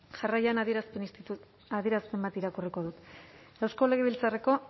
jarraian adierazpen bat irakurriko dut eusko legebiltzarreko